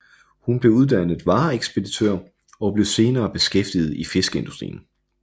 Hun blev uddannet vareekspeditør og blev senere beskæftiget i fiskeindustrien